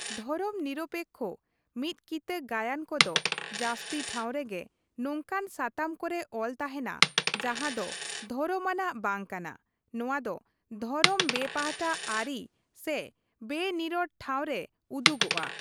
ᱫᱷᱚᱨᱚᱢ ᱱᱤᱨᱚᱯᱮᱠᱠᱷᱚ ᱢᱤᱫᱠᱤᱛᱟᱹ ᱜᱟᱭᱟᱱ ᱠᱚᱫᱚ ᱡᱟᱹᱥᱛᱤ ᱴᱷᱟᱶ ᱨᱮᱜᱮ ᱱᱚᱝᱠᱟᱱ ᱥᱟᱛᱟᱢ ᱠᱚᱨᱮ ᱚᱞ ᱛᱟᱦᱮᱱᱟ ᱡᱟᱸᱦᱟ ᱫᱚ ᱫᱷᱚᱨᱚᱢᱟᱱᱟᱜ ᱵᱟᱝ ᱠᱟᱱᱟ ᱼ ᱱᱚᱣᱟ ᱫᱚ ᱫᱷᱚᱨᱚᱢ ᱵᱮᱼᱯᱟᱦᱴᱟ ᱟᱹᱨᱤ ᱥᱮ ᱵᱮᱼᱱᱤᱨᱚᱲ ᱴᱷᱟᱶ ᱨᱮ ᱩᱫᱩᱜᱚᱼᱟ ᱾